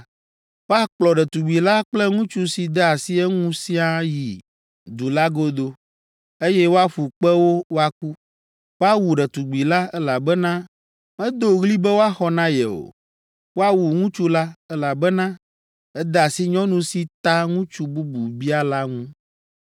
woakplɔ ɖetugbi la kple ŋutsu si de asi eŋu siaa ayi du la godo, eye woaƒu kpe wo woaku. Woawu ɖetugbi la, elabena medo ɣli be woaxɔ na ye o. Woawu ŋutsu la, elabena ede asi nyɔnu si ta ŋutsu bubu bia la ŋu.